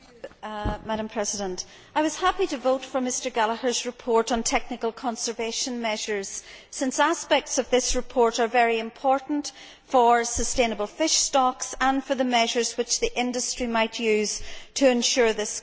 Madam President, I was happy to vote for Mr Gallagher's report on technical conservation measures, since aspects of this report are very important for sustainable fish stocks and for the measures which the industry might use to ensure this goal.